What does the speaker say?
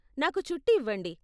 నాకు చుట్టి ఇవ్వండి.